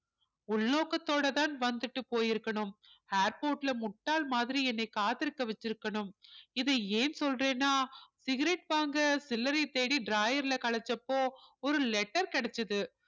உள்நோக்கத்தோட தான் வந்துட்டு போயிருக்கணும் airport ல முட்டாள் மாதிரி என்னை காத்திருக்க வச்சிருக்கணும் இதை ஏன் சொல்றேன்னா சிகரெட் வாங்க சில்லறை தேடி drawer ல கலைச்சப்போ ஒரு letter கிடைச்சது